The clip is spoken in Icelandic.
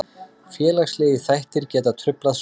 Félagslegir þættir geta truflað svefn.